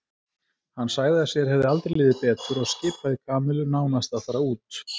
Hann sagði að sér hefði aldrei liðið betur og skipaði Kamillu nánast að fara út.